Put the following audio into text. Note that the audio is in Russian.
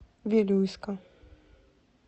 вилюйска